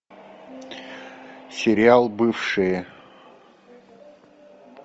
сериал бывшие